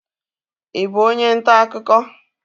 Ị bụ onye ntaakụkọ?